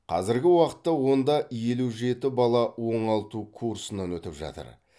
қазіргі уақытта онда елу жеті бала оңалту курсынан өтіп жатыр